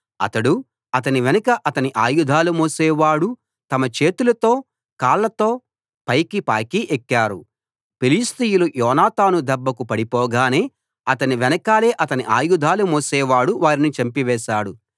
అతడూ అతని వెనుక అతని ఆయుధాలు మోసేవాడూ తమ చేతులతో కాళ్లతో పాకి పైకి ఎక్కారు ఫిలిష్తీయులు యోనాతాను దెబ్బకు పడిపోగానే అతని వెనకాలే అతని ఆయుధాలు మోసేవాడు వారిని చంపివేశాడు